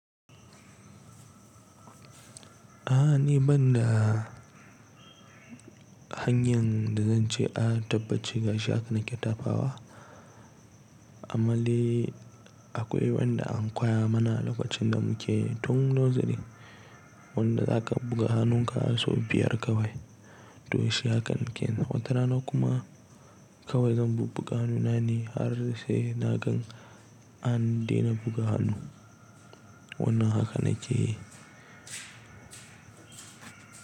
A'a ni banda hanyan da zan ce a tabbaci gashi haka na ƙetafawa, amman dai akwai wanda an koya mana lokacin da muke tun noziri wanda za ka buga hannunka so biyar kawai to shi haka na ke. Na watarana kuma kawai zan bubbuga hannuna ne har sai na gan an dena buga hannu wannan haka na ke yi.